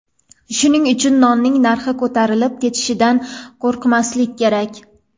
Shuning uchun nonning narxi ko‘tarilib ketishidan qo‘rqmaslik kerak.